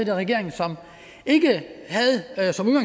i regering som ikke